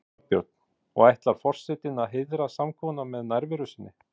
Þorbjörn: Og ætlar forsetinn að heiðra samkomuna með nærveru sinni?